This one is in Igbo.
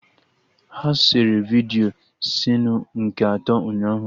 Ha sere vidiyo sinu nke atọ ụnyaahụ